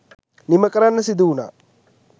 නිම කරන්න සිදුවුණා.